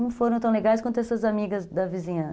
Não foram tão legais quanto essas amigas da vizinhan